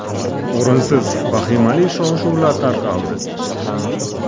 O‘rinsiz vahimali shov-shuvlar tarqaldi.